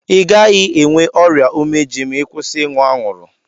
I gaghi enwe ọrịa umeji ma I kwụsị ịṅụ anwuru